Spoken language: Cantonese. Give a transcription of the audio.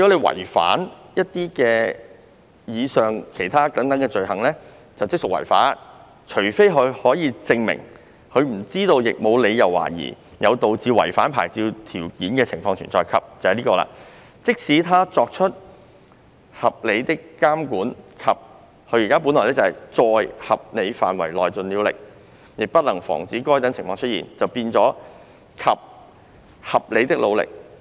違反以上罪行，即屬違法，除非他可以證明"他不知道亦無理由懷疑有導致違反牌照條件的情況存在；及"即使他作出合理的監管及"在合理範圍內盡了力"，亦不能防止該等情況出現，現修訂為"合理的努力"。